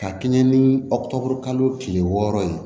Ka kɛɲɛ ni aw kile wɔɔrɔ ye